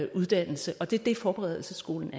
uddannelse og det er det forberedelsesskolen